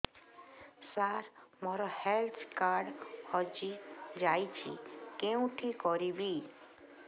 ସାର ମୋର health card ହଜି ଯାଇଛି କେଉଁଠି କରିବି